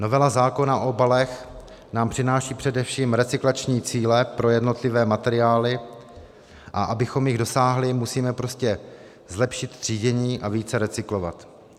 Novela zákona o obalech nám přináší především recyklační cíle pro jednotlivé materiály, a abychom jich dosáhli, musíme prostě zlepšit třídění a více recyklovat.